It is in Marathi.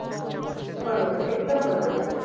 बरोबर आहे. एकदम बरोबर आहे.